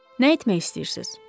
Nə etmək istəyirsiz?